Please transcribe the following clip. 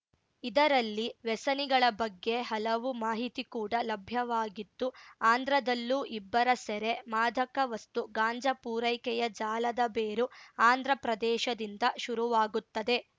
ಇದರಲ್ಲಿ ವ್ಯಸನಿಗಳ ಬಗ್ಗೆ ಹಲವು ಮಾಹಿತಿ ಕೂಡ ಲಭ್ಯವಾಗಿತ್ತು ಆಂಧ್ರದಲ್ಲೂ ಇಬ್ಬರ ಸೆರೆ ಮಾದಕ ವಸ್ತು ಗಾಂಜಾ ಪೂರೈಕೆಯ ಜಾಲದ ಬೇರು ಆಂಧ್ರಪ್ರದೇಶದಿಂದ ಶುರುವಾಗುತ್ತದೆ